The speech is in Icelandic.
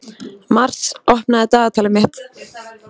Mars, opnaðu dagatalið mitt.